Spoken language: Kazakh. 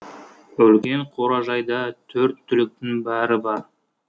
үлкен қоражайда төрт түліктің бәрі бар